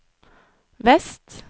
vest